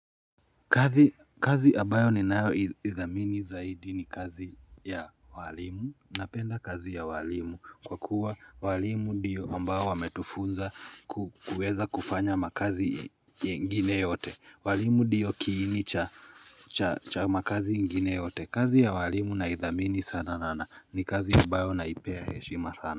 Kazi abayo ninayo idhamini zaidi ni kazi ya walimu. Napenda kazi ya walimu kwa kuwa walimu ndiyo ambayo wametufunza ku kuweza kufanya makazi ingine yote. Walimu ndiyo kiini cha cha cha makazi ingine yote. Kazi ya walimu naidhamini sana na na ni kazi abayo naipea heshima sana.